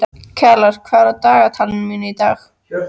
Kjalar, hvað er á dagatalinu mínu í dag?